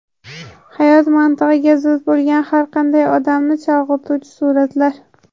Hayot mantig‘iga zid bo‘lgan har qanday odamni chalg‘ituvchi suratlar .